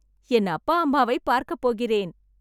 என் அப்பா அம்மாவை பார்க்க போகிறேன்